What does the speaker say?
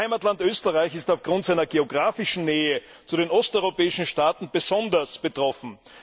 Mein Heimatland Österreich ist aufgrund seiner geografischen Nähe zu den osteuropäischen Staaten besonders betroffen.